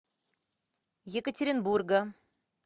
екатеринбурга